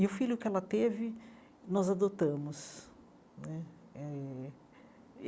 E o filho que ela teve, nós adotamos né eh.